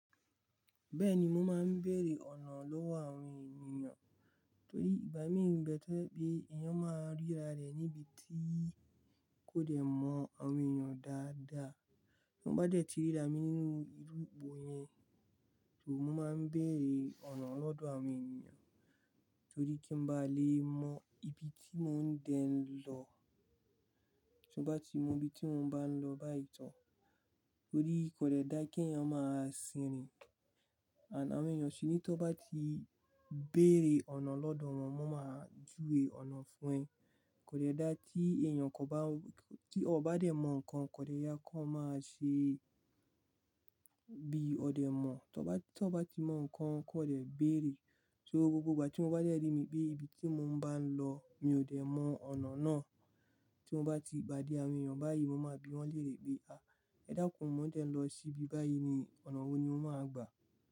Bẹ́ẹ̀ni mo máa ń bèèrè ọ̀nà lọ́wọ́ àwọn ènìyàn, torí ìgbámi ń bẹ to je pe èèyàn máa ríra rẹ̀ níbi tí kò dẹ̀ mọ àwọn ènìyàn dáadáa. Tí mo bá dẹ̀ ti ríra mi nínú irú ipo yẹn, so mo máa ń bèèrè ọ̀nà lọ́dọ̀ àwọn ènìyàn, torí kí n bá lè mọ ibi tí mò ń dẹ lọ. Tí mo bá ti mọ ibi tí mò ń bá ń lọ báyìí tán, torí kò dẹ̀ dá kí èèyàn máa sin rin. And àwọn ènìyàn ṣi ní tó bá ti bèèrè ọ̀nà lọ́dọ̀ wọn, wọ́n máa júwe ọ̀nà fún ẹ. Kò dẹ̀ dá kí èèyàn kò bá-- tí ọ bá dẹ̀ mọ nǹkan kò dẹ̀ ye kó máa ṣe bí ọ dẹ̀ mọ̀. Tí ọ bá ti mọ nǹkan kò dẹ̀ bèèrè. So gbogbo ìgbà tí mo bá dẹ̀ rí ibi tí mò ń bá ń lọ mi ò dẹ̀ mọ ọ̀nà náà, tí mo bá ti padé àwọn èèyàn báyìí mo máa bi wọ́n lérè pé, ẹ dákun mò ń dẹ̀ lọ sí ibi báyìí ni, ọ̀nà wo ni mó máa gbà?"